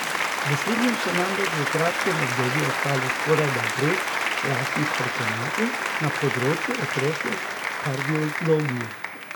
V slednjem so namreč v kratkem obdobju ostali skorajda brez lastnih strokovnjakov na področju otroške kardiologije.